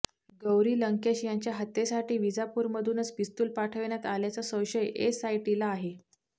गौरी लंकेश यांच्या हत्येसाठी विजापूरमधूनच पिस्तूल पाठविण्यात आल्याचा संशय एसआयटीला आहे